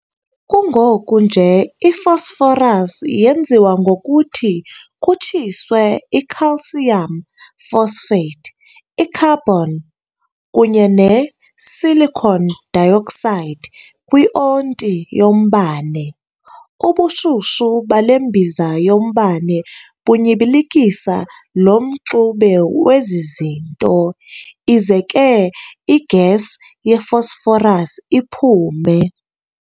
Kungoku nje i-Phosphorus yenziwa ngokuthi kutshiswe i-calcium phosphate, i-carbon, kunye ne-silicon dioxide kwi-onti -yombane. Ubushushu bale mbiza yombane bunyibilikisa lo mxube wezi zinto, ize ke i-gas ye-phosphorus iphume.